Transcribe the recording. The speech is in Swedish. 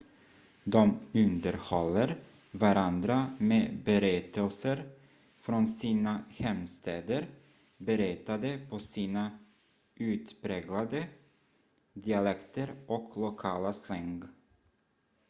de underhåller varandra med berättelser från sina hemstäder berättade på sina utpräglade dialekter och lokala slang